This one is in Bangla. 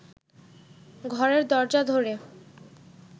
ঘরের দরজা ধরে